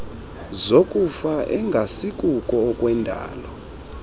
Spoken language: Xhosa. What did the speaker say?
zokufa engasikuko okwendalo